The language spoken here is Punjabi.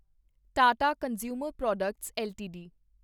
Tata consumer products LTD